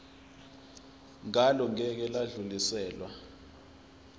ngalo ngeke lwadluliselwa